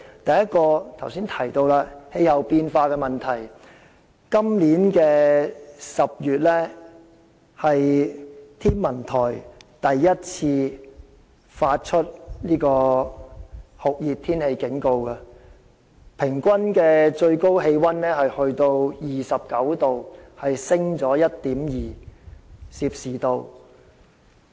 第一個危機是剛才提到的氣候變化問題，今年是天文台首次在10月發出酷熱天氣警告，該月的平均最高氣溫達 29℃， 上升了 1.2℃。